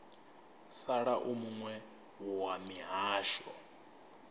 sala u muwe wa mihasho